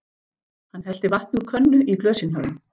Hann hellti vatni úr könnu í glösin hjá þeim.